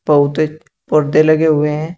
बहुते पर्दे लगे हुए हैं।